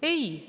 Ei!